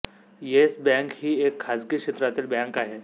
yes Bank ही एक खाजगी क्षेत्रातील बँक आहे